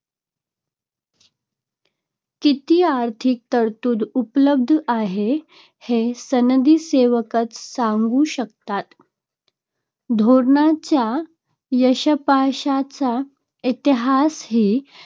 किती आर्थिक तरतूद उपलब्ध आहे, हे सनदी सेवकच सांगू शकतात. धोरणांच्या यशापयशाचा इतिहासही